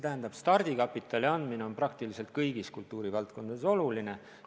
Jah, stardikapitali andmine on praktiliselt kõigis kultuurivaldkondades oluline.